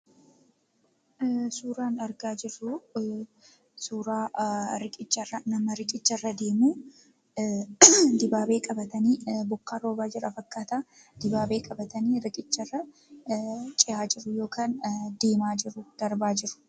Suuraan argaa jirru suura nama riqicha irra deemu dibaabee qabatanii bokkaatu roobaa jira fakkaata. Kanaaf dibaabee qabatanii riqicha irra cehaa jiru.